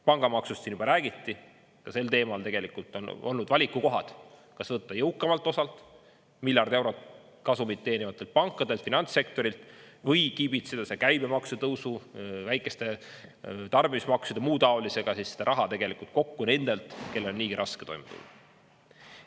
Pangamaksust siin juba räägiti, ka sel teemal tegelikult on olnud valikukohad, kas võtta jõukamalt osalt miljard eurot kasumit teenivatelt pankadelt, finantssektorilt, või kiibitseda see käibemaksu tõusu väikeste tarbimismaksude, muu taolisega, siis seda raha tegelikult kokku nendelt, kellel on niigi raske toime tulla.